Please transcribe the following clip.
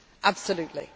absolutely